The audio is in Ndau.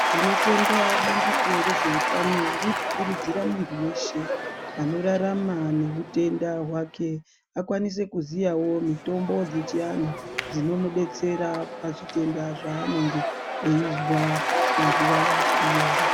Tinotenda bandiko rezveutano riri kukurudzira muntu weshe anorarama neutenda hwake akwanise kuziyawo mitombo dzechiantu dzinomudetsera pazvitenda zvaanenge eizwa munguva yacho iyoyo